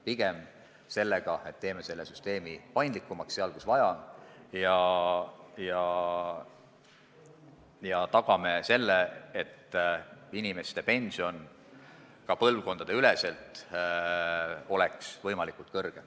Pigem on tegemist sellega, et muudame süsteemi paindlikumaks seal, kus vaja, ja tagame, et inimeste pension oleks ka üle põlvkondade võimalikult suur.